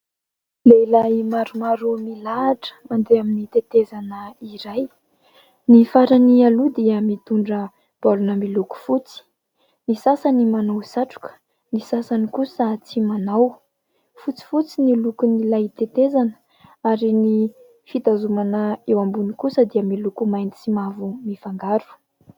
Lehilahy maromaro milahatra mandeha amin'ny tetezana iray. Ny farany aloha dia mitondra baolina miloko fotsy ; ny sasany manao satroka, ny sasany kosa tsy manao. Fotsifotsy no lokon'ilay tetezana ary ny fitazomana eo ambony kosa dia miloko mainty sy mavo mifangaro.